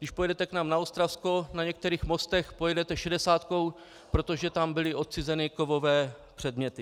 Když pojedete k nám na Ostravsko, na některých mostech pojedete šedesátkou, protože tam byly odcizeny kovové předměty.